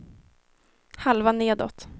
halva nedåt